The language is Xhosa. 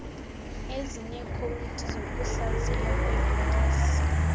ezineekhowudi zokuhlaziywa kweebhokisi